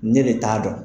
Ne de t'a dɔn